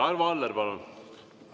Arvo Aller, palun!